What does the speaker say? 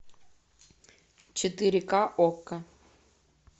четыре ка окко